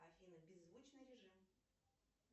афина беззвучный режим